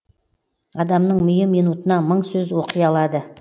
адамның миы минутына мың сөз оқи алады